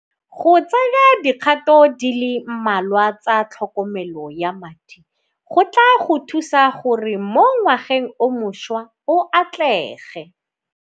Go tsaya dikgato di le mmalwa tsa tlhokomelo ya madi go tla go thusa gore mo ngwageng o mošwa o atlege.